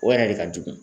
O yɛrɛ de ka jugu